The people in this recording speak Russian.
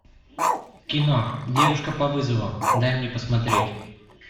кино девушка по вызову дай мне посмотреть